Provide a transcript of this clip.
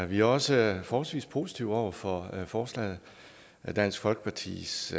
vi er også forholdsvis positive over for forslaget dansk folkepartis